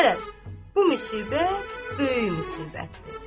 Qərəz, bu müsibət böyük müsibətdir.